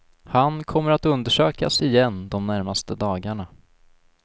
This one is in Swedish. Han kommer att undersökas igen de närmaste dagarna.